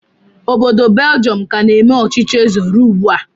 Obodo Beljọm ka na-eme ọchịchị eze ruo ugbu a